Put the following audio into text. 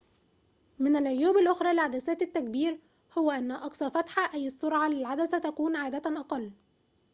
من العيوب الأخرى لعدسات التكبير هو أن أقصى فتحة أي السرعة للعدسة تكون عادة أقل